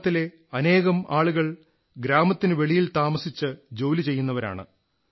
ഈ ഗ്രാമത്തിലെ അനേകം ആളുകൾ ഗ്രാമത്തിനു വെളിയിൽ താമസിച്ച് ജോലി ചെയ്യുന്നവരാണ്